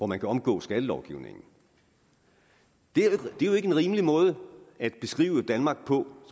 man kan omgå skattelovgivningen det er jo ikke en rimelig måde at beskrive danmark på